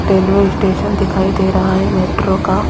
railway station दिखाई दे रहा है मेट्रो का--